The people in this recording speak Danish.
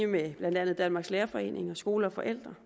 med hvad blandt andet danmarks lærerforening og skole og forældre